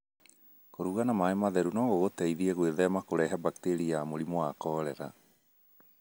Kũruga na maĩ matheru no gũgũteithie gwĩthema kũrehe bakteria ya mũrimũ wa korera.